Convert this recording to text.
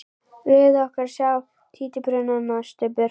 Leyfðu okkur að sjá títuprjónana, Stubbur!